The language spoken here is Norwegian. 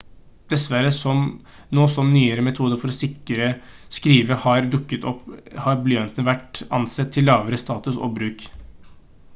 dessverre nå som nyere metoder for å skrive har dukket opp har blyanten vært ansett til lavere status og bruk